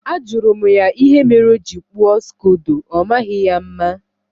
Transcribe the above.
Ajụrụ m ya ihe mere o ji kpụọ Skodo, ọmaghị ya mma